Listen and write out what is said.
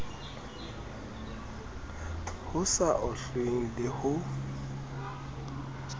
ho sa ohlweng le ho